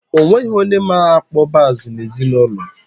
Onweghi onye ma-akpọ bass n'ezinụlọ m